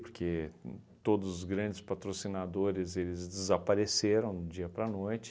Porque uhn todos os grandes patrocinadores, eles desapareceram do dia para noite.